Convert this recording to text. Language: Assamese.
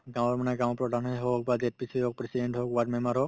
গাওঁৰ মানে গাওঁপ্ৰধানে হওক বা হওক president হওক ward member হওক